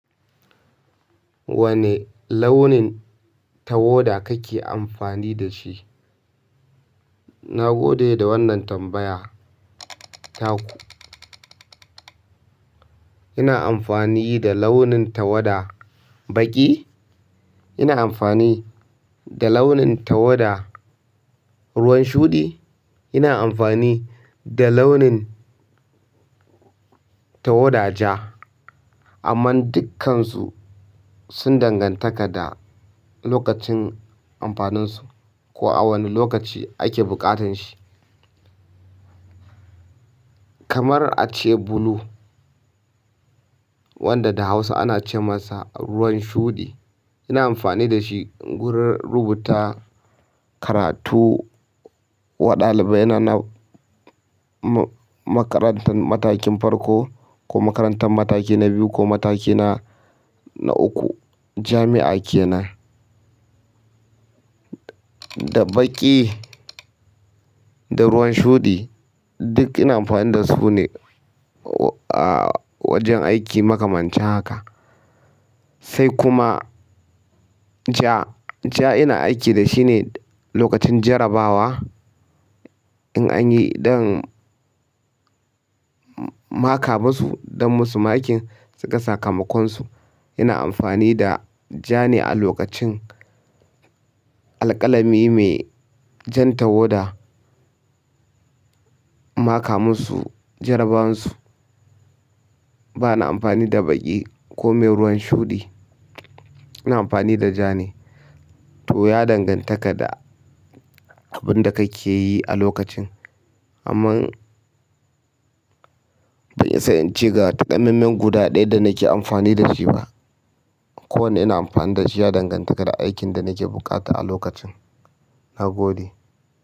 Wane launin tawada kake amfani da shi? Na gode da wannan tambaya. Taku. Ina amfani da launin tawada baƙi, ina amfani da launin tawada ruwan shuɗi, ina amfani da launin tawada ja. Amma dukkansu sun dangantaka da lokacin amfaninsu ko a wane lokaci ake bukatan shi. Kamar a ce blue wanda da Hausa ana ce masa ruwan shuɗi, ina amfani da shi gurin rubuta karatu wa ɗalibai na na ma-makarantar matakin farko ko makarantar mataki na biyu ko mataki na, na uku. Jami'a kenan. Da baƙi, da ruwan shuɗi duk ina amfani da su ne a wajen aiki maka mancin haka. Sai kuma ja, ja ina aiki da shi ne lokacin jarrabawa in an yi dan maka masu don masu makin su ka ga sakamakonsu. Ina amfani da ja ne a lokacin alƙalami mai jan tawada maka musu jarrabawansu. Bana amfani da baƙi ko mai ruwan shuɗi, ina amfani da ja ne. To ya dangantaka da abin da kake yi a lokacin. Amma ban isa ince ga takanannen guda ɗaya da nake amfani da shi ba. Ko wanda ina amfani da shi ya danganta da aikin da nake bukata a lokacin. Na gode.